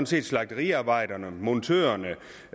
slagteriarbejderne montørerne